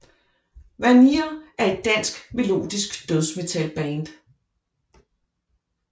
Vanir er et dansk melodisk dødsmetalband